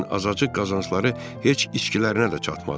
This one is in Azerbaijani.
Lakin azacıq qazancları heç içkilərinə də çatmadı.